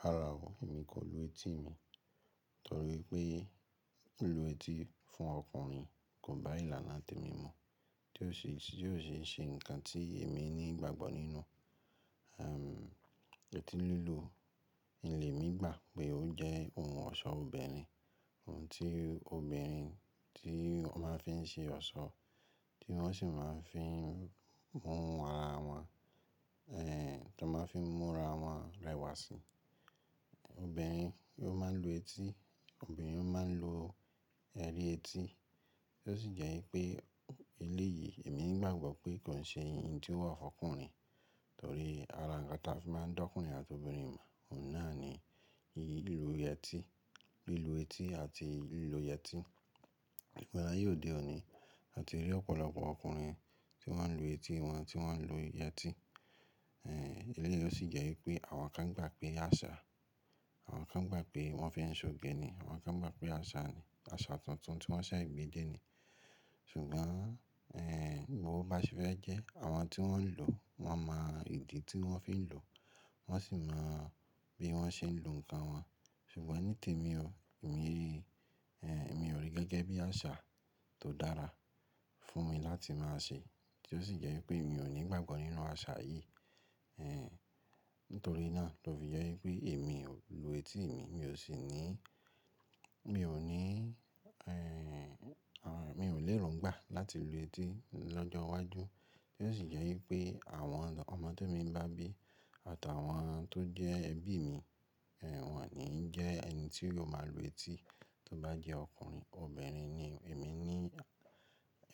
Rárá o, èmi kò lu etí mi torí pé lìlú etí fún ọkùnrin kò bá ìlànà tèmi mu, tí ó sì ṣe nǹkan tí èmi ní ìgbàgbọ́ nínú. Eti lílu, in lé mi gbà pé ó jẹ́ ohun ọ̀ṣọ́ obìnrin, ohun tí obìnrin tí wọ́n máa ń fi ṣe ọ̀ṣọ́, tí wọ́n sì máa ń fi mú ara wọn, tọ́n máa ń fi mú ara wọn rẹwà si Obìnrin ló máa ń lu etí, obìnrin ló máa ń lo ẹrí etí. Ó sì jẹ́ wípé eléyìí èmi gbàgbọ́ pé kò n ṣe ìn tí ó wà fún ọkùnrin torí ará nkan tí a fi máa ń dá ọkùnrin àti obìnrin mọ̀ oun naa ni lìlú yẹtí, lìlú etí àti lìlú yẹtí. Ìgbà aye odé oní àti rí ọ̀pọ̀lọpọ̀ ọkùnrin tí wọ́n ń lu etí wọn, tí wọ́n ń lo yẹtí. Eléyìí o sì jẹ́ wípé àwọn kan gbà pé àṣà, àwọn kan gbà pé wọ́n fi ń ṣòge ni, àwọn kan gbà pé àṣà ni, àṣà tuntun tí wọ́n ṣẹ̀ gbede ni. Ṣùgbọ́n bo bá ṣe fẹ́ jẹ́ àwọn tí wọ́n ń lò, wọ́n mọ ìdí tí wọ́n fi ń lò, wọ́n sì mọ bí wọ́n ṣe ń lo nnkan wọn. Ṣùgbọ́n nítèmi o, èmi ò rí gẹ́gẹ́ bí àṣà tó dára fún mi láti máa ṣe. Tí ó sì jẹ́ wípé mi ò ní ìgbàgbọ́ nínú àṣà yìí. Nítorí náà tó fi jẹ́ wípé èmi o lu etí mi, mi ò sì ní, mi ò ní, mi ò ní erongbà láti lu etí lọ́jọ́ iwájú. Tí ó sì jẹ́ wípé àwọn ọmọ te mi n bagbe àtàwọn tó jẹ́ ẹbí mi, wọ́n ki n jẹ́ ẹni tí yóò máa lu etí tó bá jẹ́ ọkùnrin. Obìnrin ni èmi ní,